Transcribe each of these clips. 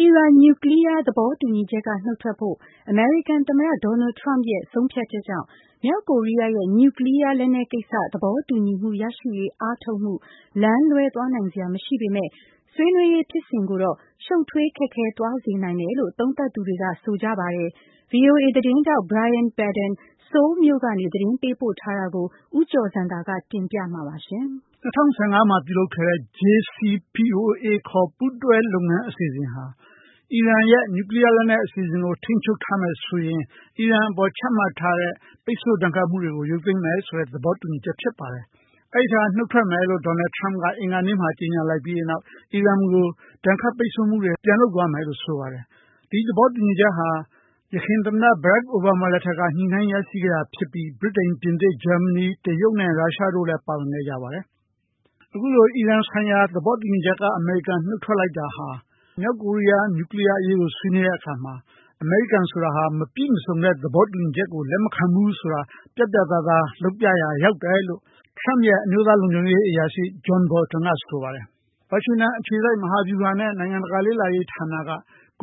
အီရန်နျူကလီးယား သဘောတူညီချက်က နုတ်ထွက်ဖို့ အမေရိကန်သမ္မတ Donald Trump ရဲ့ ဆုံးဖြတ်ချက်ကြောင့် မြောက်ကိုရီးယားရဲ့ နျူကလီးယားလက်နက်ကိစ္စ သဘောတူညီမှုရရှိရေး အားထုတ်မှု လမ်းလွဲသွားနိုင်စရာမရှိပေမဲ့ ဆွေးနွေးရေးဖြစ်စဉ်ကိုတော့ ရှုပ်ထွေးခက်ခဲ သွားစေနိုင်တယ်လို့ သုံးသပ်သူတွေက ဆိုနေကြပါတယ်။ VOA သတင်းထောက် Brian Padden ဆိုးလ်မြို့ကနေ သတင်းပေးပို့ထားတာကို ဦးကျော်ဇံသာက တင်ပြမှာပါ။ ၂၀၁၅ မှာပြုလုပ်ခဲ့တဲ့ JCPOA ခေါ်ပူးတွဲ လုပ်ငန်းအစီအစဉ်ဟာ အီရန်က နျူကလီးယားလက်နက် အစီအစဉ်ကိုထိန်းချုပ်ရင် အီရန်အပေါ်ခချမှတ်ထားတဲ့ ပိတ်ဆို့ဒဏ်ခတ်မှုတွေကို ရုပ်သိမ်းမယ်လို့ သဘောတူထားတာဖြစ်ပါတယ်။ အဲဒီအထဲက နှုတ်ထွက်မယ်လို့ Donald Trump အင်္ဂါနေ့က ကြေညာလိုက်ပြီး အီရန်ကို ဒဏ်ခတ်ပိတ်ဆို့မှုတွေ ပြန်လုပ်မယ်လို့ဆိုပါတယ်။ ဒီသဘောတူညီချက်ဟာ ယခင်သမ္မတ Barack Obama လက်ထက်မှာ ရရှိခဲ့တာဖြစ်ပြီး ဗြိတိန်၊ ပြင်သစ်၊ ဂျာမနီ၊ တရုတ်နဲ့ရုရှားနဲ့တရုတ်တို့ပါဝင်ခဲ့ကြတာပါ။ ဒီလိုနုတ်ထွက်လိုက်တဲ့အတွက် မြောက်ကိုရီးယားနဲ့ အလားတူ နျူကလီယားအရေးဆွေးနွေးတဲ့အခါ “အမေရိကန်ဟာ မပြည့်စုံတဲ့ သဘောတူညီချက်မျိူးဆိုရင် လက်ခံမှာမဟုတ်ဘူး” ဆိုတာ ပြတ်ပြတ်သားသားပြသရာ ရောက်တယ်လို့ Trump ရဲ့ အမျိုးသားလုံခြုံရေးအရာရှိ John Bolton ကဆိုပါတယ်။ ဝါရှင်တန်အခြေစိုက် မဟာဗျူဟာနဲ့ နိုင်ငံတကာလေ့လာရေး ဌာန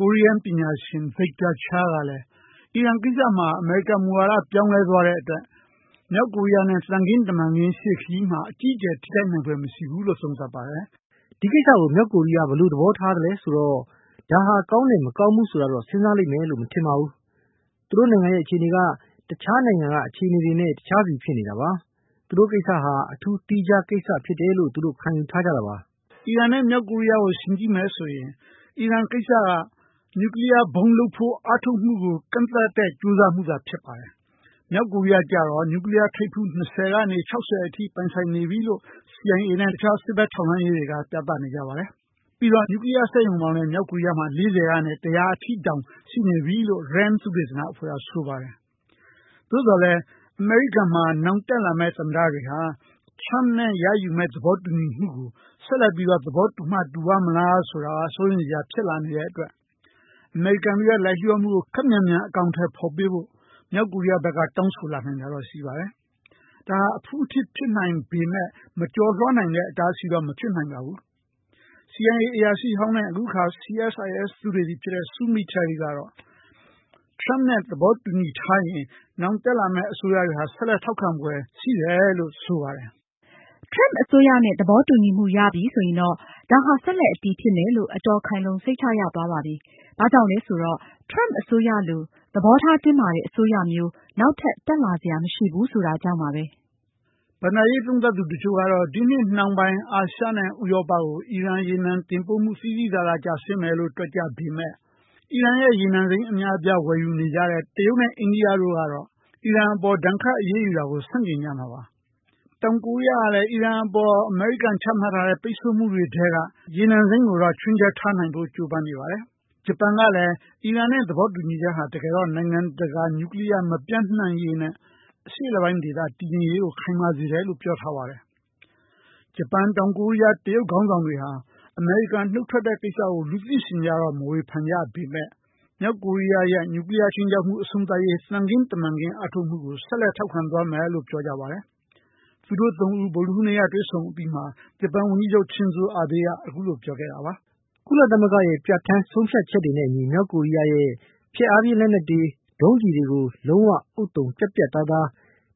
ကိုရီးယားပညာရှင် Victor Cha ကလဲ အီရန် ကိစ္စမှာ အမေရိကန်မူဝါဒ ပြောင်းလဲသွားပေမဲ့ မြောက်ကိုရီးယားနဲ့ သံခင်းတမန်ခင်းရှေ့ခရီးမှာ ထိခိုက်ဖွယ်မရှိဘူးလို့ဆိုပါတယ်။ “ဒီကိစ္စကို မြောက်ကိုရီးယားဘယ်လိုသဘောထားမလဲဆိုတော့ ဒါဟာကောငိးတယ်-ဆိုးတယ် ဆိုတာတော့ သူတို့စဉ်းစားလိမ့်မယ်မထင်ပါဘူး။ သူတို့နိုင်ငံရဲ့ အခြေအနေက ကျန်နိုင်ငံတွေနဲ့ မခြေမနေကတခြားစီဖြစ်နေတာပါ။ သုတို့ကိစ္စဟာ အထူးသီးခြားကိစ္စဖြစ်တယ်လို့ပဲ သူတို့ကယူဆထားတာပါ။” အီရန် နဲ့ မြောက်ကိုရီးယားကိုယှဉ်မယ်ဆိုရင် အီရန် ကိစ္စက နျူကလီးယားဗုံးထုတ်ဖို့ ကြိုးပမ်းမှု ကန့်သတ်ဖို့ ကြိုးစားတာသာဖြစ်ပြီး မြောက်ကိုရီးယားကျတော့ နျူကလီးယားထိပ်ဖူး ၂၀ ကနေ ၆၀ ထိ ပိုင်ဆိုင်ထားပြီလို့ CIA နဲ့ တခြား စစ်ဘက်ထောက်လှမ်းရေးတွေက ဆိုပါတယ်။ ပြီးတော့ နျူကလီးယား စက်ရုံပေါင်းလဲ ၄၀ ကနေ ၁၀၀ ထိ တောင်ရှိနေပြီလို့ RAND သုတေသနအဖွဲ့က ဆိုပါတယ်။ ဒါပေမဲ့ အမေရိကန်မှာ နောင်တက်လာမယ့် သမ္မတတွေက Trump နဲ့ရယူမယ့်သဘောတူညီချက်ကို ဆက်လက်သဘောတူမှတူပါ့မလား ဆိုတာ စိုးရိမ်စရာရှိနေတဲ့ အတွက် အမေရိကန်ရဲ့လိုက်လျှောမှုမှုတွေကို ခပ်မြန်မြန်အကောင်အထည်ဖေါ်ပေးဖို့ မြောက်ကိုရီးယားကတောင်းဆိုလာနိုင်ပါတယ်။ဒါဟာ အဖုအထစ်နဲနဲရှိနိုင်ပေမဲ့ မကျော်လွှားနိုင်တဲ့ အတားအဆီးတော့မဖြစ်နိုင်ပါဘူး။ CIA အရာရှိဟောင်း နဲ့ လက်ရှိ CSIS သုတေသီ Sue Mi Terry ကတော့Trump နဲ့ သဘောတူထားရင် နောင်တက်လာမယ့်အစိုးရတွေဆက်လက်ထောက်ခံဖွယ် အလားအလာရှိလို့ဆိုပါတယ်။ “Trump အစိုးရနဲ့ သဘောတူညီမှုရပြီဆိုရင်တော့ ဒါဟာ ဆက်လက်အတည်ဖြစ်မယ်လို့ အတော်ခိုင်လုံ စိတ်ချရသွားပါပြီ။ ဘာကြောင့်လဲဆိုတော့ Trump အစိုးရလိုသဘောထားတင်းမာတဲ့ အစိုးရမျိုး နောက်ထပ် တက်လာစရာမရှိဘူးဆိုတာကြောင့်ပါပဲ။” ဘဏ္ဍာရေးသုံးသပ်သူတချို့က ဒီနှစ်နှောင်းပိုင်း အာရှနဲ့ဥရောပကို အီရန် ရေနံတင်ပို့မှု သိသိသာသာ ကျဆင်းသွားမယ်လို့ တွက်ကြပေမဲ့ အီရန် ရေနံစိမ်းအများအပြားတင်သွင်းနေတဲ့ တရုတ်နဲ့ အိန္ဒိယတို့က အီရန် အပေါ်ဒဏ်ခတ်အရေးယူတာကို ဆန့်ကျင်ကြတာပါ။ တောင်ကိုရီးယားကလဲ အီရန် အပေါ် ဒဏ်ခတ်အရေးယူတာကို ဆန့်ကျင်ကြတာပါ။ တောင်ကိုရီးယားကလဲ အီရန် အပေါ်ချမှတ်ထားတဲ့ ပိတ်ဆို့မှုတွေထဲက ရေနံစိမ်းကို ချွင်းချက်ထားဖို့ ကြိုပမ်းနေပါတယ်။ ဂျပန်ကလဲ အီရန် နဲ့သဘောတူညီချက်ဟာ နိုင်ငံတကာ နျူကလီးယားမပျံ့ပွားရေးနဲ့ အရှေ့အလယ်ပိုင်း တည်ငြိမ်ရေးကို ခိုင်မာစေတယ်လို့ ပြောပါတယ်။ ဂျပန်၊ တောင်ကိုရီးယား နဲ့ တရုတ်ခေါင်းဆောင်တွေဟာ အမေရိကန်နှုတ်ထွက်တဲ့ကိစ္စကို လူသိရှင်ကြားတော့မဝေဖန်ကြပေမဲ့ မြောက်ကိုရီးယားရဲ့ နျူကလီးယားခြိမ်းခြောက်မှုအဆုံးသတ်ရေး သံခင်းတမန်ခင်းအားထုတ်မှုကို ဆက်လက်ထောက်ခံသွားမယ်လို့ပြောကြပါတယ်။ သူတို့ ၃ ဦး ဗုဒ္ဒဟူူးနေ့မှာတွေ့ဆုံပြီး ဂျပန်ဝန်ကြီးချုပ် Shinza Abe ကဆိုရင် အခုလိုပြောခဲ့တာပါ။ “ကုလသမဂ္ဂရဲ့ပြဌာန်းချက် တွေနဲ့အညီ မြောက်ကိုရီးယားရဲ့ ဖျက်အားဖြင်းလက်နက်တွေ ဒုံးကျည်တွေကို လုံးဝဥဿုံ ပြတ်ပြတ်သားသား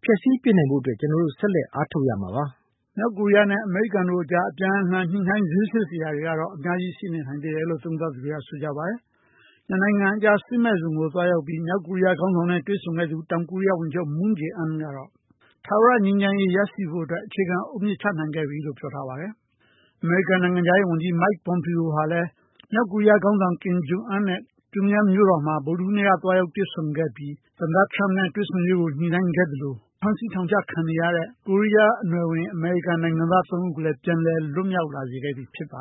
ဖျက်ဆီးပစ်နိုင်ဖို့ အတွက် ကျွန်တော် ဆက်လက်အားထုတ်သွားရမှာပါ။” မြောက်ကိုရီးယားနဲ့ အမေရိကန်တို့အကြား အပြန်အလှန်ညှိုနှိုင်း ဈေးဆစ်စရာတွေကတော့ အများကြီး ရှိနေနိုင်တယ်လို့ သုံးသပ်သူတွေက ဆိုကြပါတယ်။ နှစ်နိုင်ငံကြား စစ်မဲ့ဇုံနေရာကို သွားရောက်ပြီး မြောက်ကိုရီးယားခေါင်းဆောင်နဲ့ တွေ့ဆုံခဲ့သူ တောင်ကိုရီးယားဝန်ကြီးချုပ် Moon Jae In ကတော့ ထာဝရငြိမ်းချမ်းရေး ရနိုင်ဖို့အတွက် အခြေခံအုတ်မြစ် ချနိုင်ခဲ့ပြီလို့ ပြောထားပါတယ်။ အမေရိကန်နိုင်ငံခြားရေးဝန်ကြီး Mike Pompeo ဟာလဲ မြောက်ကိုရီးယားခေါင်းဆောင် Kim Jung Un နဲ့ ပြုံးရမ်းမြို့တော်မှာ ဗုဒ္ဓဟူးနေ့က သွားရောက်တွေ့ဆုံခဲ့ပြီး သမ္မတ ထရမ့်နဲ့ တွေ့ဆုံရေးအတွက် ညှိုနှိုင်းခဲ့သလို ဖမ်းဆီးထောင်ချခံနေရတဲ့ ကိုးရီးယားအနွယ်ဝင် အမေရိကန်နိုင်ငံသား သုံးဦးကိုလည်း ပြန်လည်လွတ်မြောက်လာစေခဲ့ပြီဖြစ်ပါ